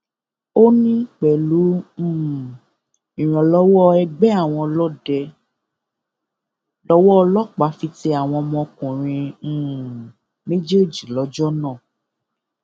ó ní pẹlú um ìrànlọwọ ẹgbẹ àwọn ọlọdẹ lọwọ ọlọpàá fi tẹ àwọn ọmọkùnrin um méjèèjì lọjọ náà